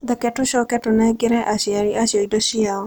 Reke tũcoke tũnengere aciari acio indo ciao.